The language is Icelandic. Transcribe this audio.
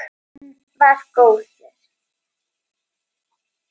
Hann var góður.